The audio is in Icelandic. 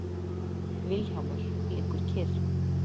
Vilhjálmur liggur kyrr.